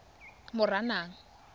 moranang